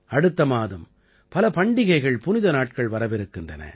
அடுத்த மாதம் பல பண்டிகைகள்புனித நாட்கள் வரவிருக்கின்றன